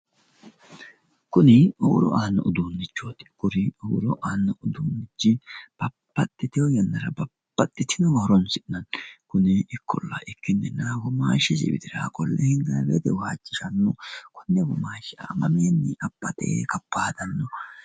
Kuni huuro aanno uduunnichooti kuri huuro aanno uduunnichi babbaxxiteyo yannara babbxitinowa horonsi'nanni kuni ikkolla ikkinnina womaashshisi widira qolle hirranni woyite waajjishanno konne womaashsha mamiinni abbate waajjishanno.